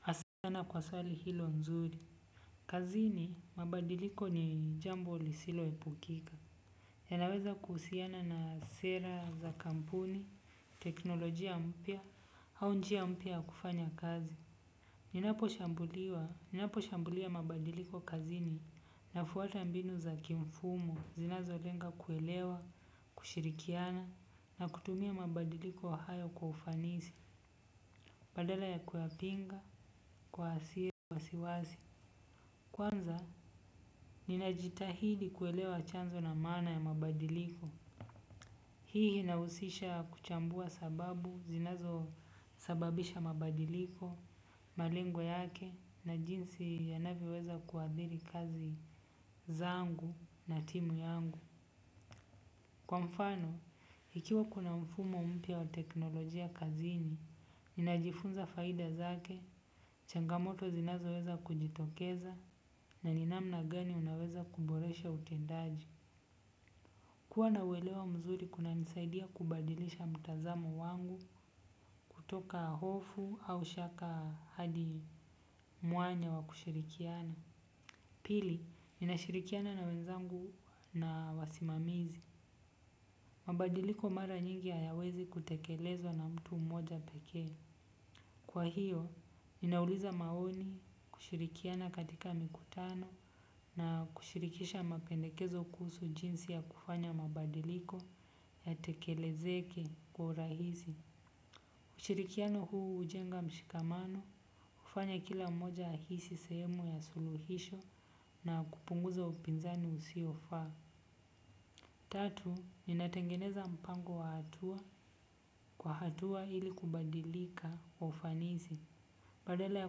Hasa sana kwa swali hilo nzuri. Kazini, mabadiliko ni jambo lisilo epukika. Yanaweza kuhusiana na sera za kampuni, teknolojia mpya, au njia mpya ya kufanya kazi. Ninaposhambuliwa, ninaposhambulia mabadiliko kazini nafwata mbinu za kimfumo, zinazolenga kuelewa, kushirikiana, na kutumia mabadiliko hayo kwa ufanisi. Badala ya kuyapinga, kwa asiye kwa wasiwasi kwanza ninajitahidi kuelewa chanzo na maana ya mabadiliko. Hii inahusisha kuchambua sababu, zinazosababisha mabadiliko, malengo yake na jinsi yanavyoweza kuadhiri kazi zangu na timu yangu. Kwa mfano, ikiwa kuna mfumo mpya wa teknolojia kazini, ninajifunza faida zake, changamoto zinazoweza kujitokeza, na ni namna gani unaweza kuboresha utendaji. Kuwa na uwelewa mzuri kunanisaidia kubadilisha mtazamo wangu kutoka hofu au shaka hadi mwanya wa kushirikiana. Pili, ninashirikiana na wenzangu na wasimamizi. Mabadiliko mara nyingi hayawezi kutekelezwa na mtu mmoja pekee. Kwa hiyo, ninauliza maoni kushirikiana katika mikutano na kushirikisha mapendekezo kuhusu jinsi ya kufanya mabadiliko ya tekelezeke kwa urahisi. Ushirikino huu hujenga mshikamano hufanya kila mmoja ahisi sehemu ya suluhisho na kupunguza upinzani usio faa. Tatu, ninatengeneza mpango wa hatua kwa hatua ili kubadilika kwa ufanisi. Badala ya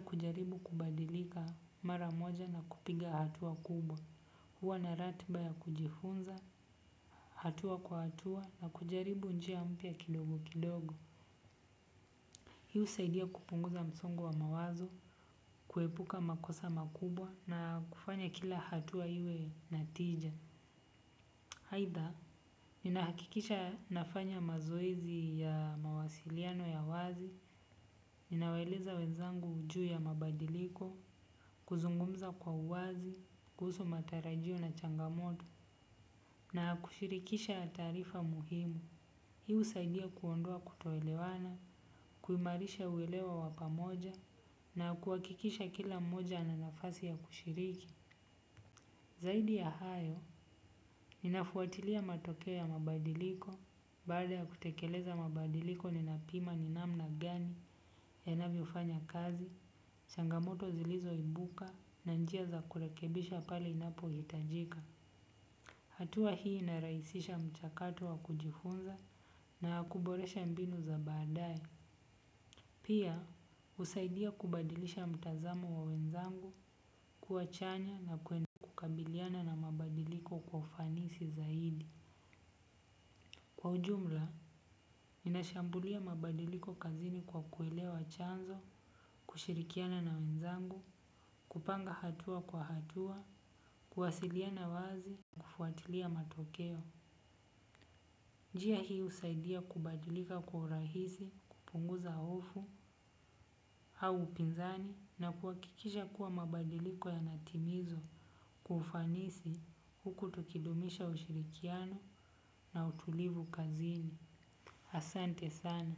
kujaribu kubadilika mara mmoja na kupiga hatua kubwa. Huwa na ratiba ya kujifunza, hatua kwa hatua na kujaribu njia mpya kidogo kidogo. Hii husaidia kupunguza msongo wa mawazo, kuepuka makosa makubwa na kufanya kila hatua iwe natija. Aidha, ninahakikisha nafanya mazoezi ya mawasiliano ya wazi, ninawaeleza wezangu juu ya mabadiliko, kuzungumza kwa uwazi, kuhusu matarajio na changamoto na kushirikisha taarifa muhimu. Hii husaidia kuondoa kutoelewana, kuimarisha uelewa wa pamoja na kuhakikisha kila mmoja na nafasi ya kushiriki. Zaidi ya hayo, ninafwatilia matokeo ya mabadiliko, baada ya kutekeleza mabadiliko ni napima ni namna gani yanavyofanya kazi, changamoto zilizo ibuka na njia za kurekebisha pale inapo hitajika. Hatua hii inarahisisha mchakato wa kujifunza na wa kuboresha mbinu za baadae. Pia, husaidia kubadilisha mtazamo wa wenzangu, kuwa chanya na kwenda kukabiliana na mabadiliko kwa ufanisi zaidi. Kwa ujumla, ninashambulia mabadiliko kazini kwa kuelewa chanzo, kushirikiana na wenzangu, kupanga hatua kwa hatua, kuwasiliana wazi, kufwatilia matokeo. Njia hii husaidia kubadilika kwa urahisi, kupunguza hofu au upinzani na kuhakikisha kuwa mabadiliko yanatimizwa kwa ufanisi huku tukidumisha ushirikiano na utulivu kazini. Asante sana.